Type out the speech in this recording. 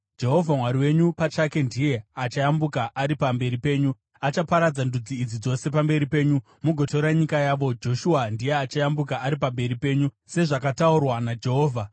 Jehovha Mwari wenyu pachake ndiye achayambuka ari pamberi penyu. Achaparadza ndudzi idzi dzose pamberi penyu, mugotora nyika yavo. Joshua ndiye achayambuka ari pamberi penyu, sezvakataurwa naJehovha.